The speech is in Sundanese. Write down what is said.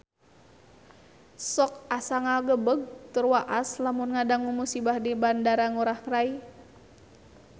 Sok asa ngagebeg tur waas lamun ngadangu musibah di Bandara Ngurai Rai